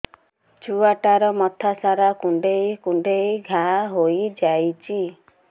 ଛୁଆଟାର ମଥା ସାରା କୁଂଡେଇ କୁଂଡେଇ ଘାଆ ହୋଇ ଯାଇଛି